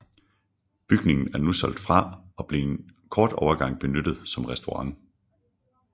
Bygningen er nu solgt fra og blev en kort overgang benyttet som restaurant